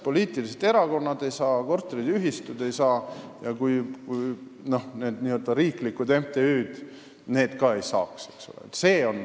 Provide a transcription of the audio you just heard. Poliitilised erakonnad ega korteriühistud ei saaks seda raha, riiklikud MTÜ-d ka ei saaks.